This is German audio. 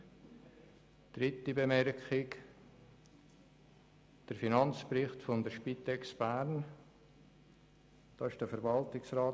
Die dritte Bemerkung gilt dem Finanzbericht der Spitex Bern.